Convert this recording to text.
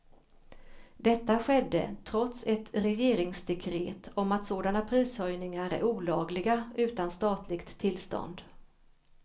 Detta skedde trots ett regeringsdekret om att sådana prishöjningar är olagliga utan statligt tillstånd.